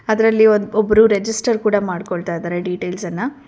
ಅದ್ರಲ್ಲಿ ಒಂದ್ ಒಬ್ರು ರೆಜಿಸ್ಟರ್ ಕೂಡ ಮಾಡ್ಕೊಳ್ತಾ ಇದರೆ ಡೀಟೇಲ್ಸ್ ಅನ್ನ.